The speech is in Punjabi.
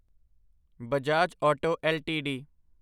Bajaj auto LTD